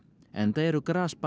enda eru